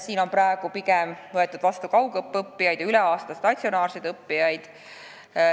Viimases on praegu pigem vastu võetud kaugõppes õppijaid, üle aasta ka statsionaarseid õppijaid.